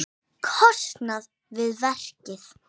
kostnað við verkið.